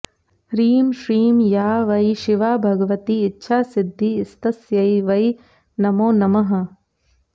ह्रीं श्रीं या वै शिवा भगवती इच्छासिद्धिस्तस्यै वै नमो नमः